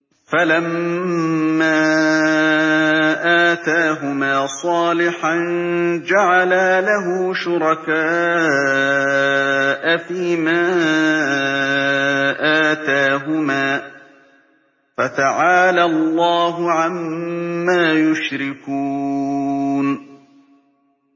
فَلَمَّا آتَاهُمَا صَالِحًا جَعَلَا لَهُ شُرَكَاءَ فِيمَا آتَاهُمَا ۚ فَتَعَالَى اللَّهُ عَمَّا يُشْرِكُونَ